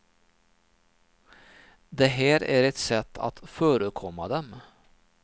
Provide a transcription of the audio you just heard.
Det här är ett sätt att förekomma dem.